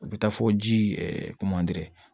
U bɛ taa fo ji